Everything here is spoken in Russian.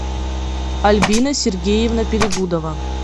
альбина сергеевна перегудова